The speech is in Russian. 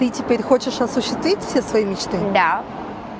ты теперь хочешь осуществить все свои мечты да